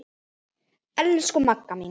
Elsku Magga mín.